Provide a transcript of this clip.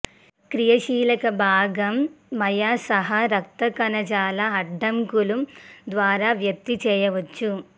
క్రియాశీలక భాగం మాయ సహా రక్త కణజాల అడ్డంకులు ద్వారా వ్యాప్తి చేయవచ్చు